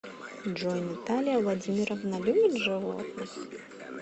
джой наталья владимировна любит животных